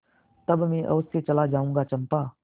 तब मैं अवश्य चला जाऊँगा चंपा